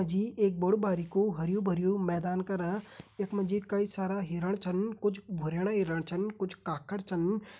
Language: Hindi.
यख मा जी एक बड़ु बारिकु हरयूं भरयूं मैदान करा यख मा जी कई सारा हिरण छन कुछ भुरेण्या हिरण छन कुछ काखड़ छन।